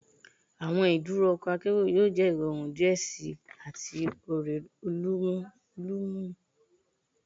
Awọn iduro ọkọ akero yoo jẹ irọrun diẹ sii ati ore olumulo